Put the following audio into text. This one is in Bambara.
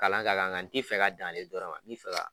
Kalan ka kan nka t'i fɛ ka dan ale dɔrɔn ma, nb'i fɛ